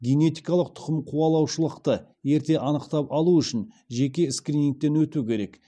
генетикалық тұқымқуалаушылықты ерте анықтап алу үшін жеке скринингтен өту керек